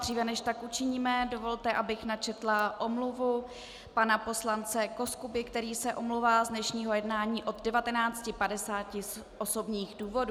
Dříve, než tak učiníme, dovolte, abych načetla omluvu pana poslance Koskuby, který se omlouvá z dnešního jednání od 19.50 z osobních důvodů.